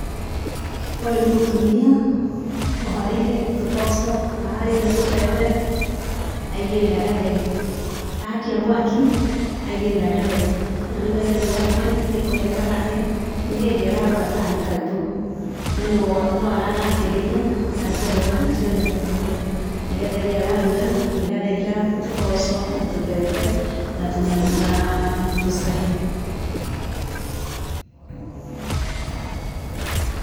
Ũyũ nĩ mũtumia aharĩirĩe tũboco, aharĩríia tũbebe aigĩrĩra gatheri, akia mwaki aigĩrĩra gatheri. Na rĩu gatheri gake nĩ kũhĩa karahĩa, nĩ hĩndĩ ararora kana nĩ kaumbũku. No noaragakĩrĩria na nĩgetha ciana cione gĩakũrĩa. Nĩ gatheri araruga, nĩ gatheri ga tũboco na tũbebe na tũnyamũ na tũcahĩ.